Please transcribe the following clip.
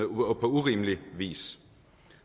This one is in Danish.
urimelig vis